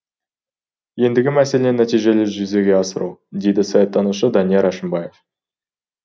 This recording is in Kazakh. ендігі мәселе нәтижелі жүзеге асыру дейді саяттанушы данияр әшімбаев